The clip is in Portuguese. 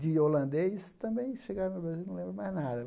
de holandês também chegaram no Brasil, não lembram mais nada.